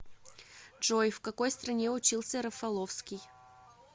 джой в какой стране учился рафаловский